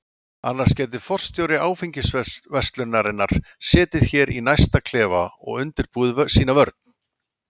Annars gæti forstjóri áfengisverslunarinnar setið hér í næsta klefa og undirbúið sína vörn.